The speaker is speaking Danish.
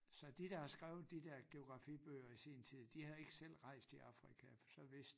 Så de der har skrevet de dér geografibøger i sin tid de havde ikke selv rejst i Afrika for så vidste